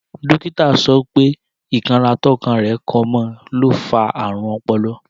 Dókítà sọ wípé; Ikan rà tọkọ rẹ kan mọ, lo fa ààrùn ọpọlọ